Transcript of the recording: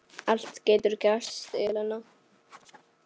Allt getur gerst, Ellen.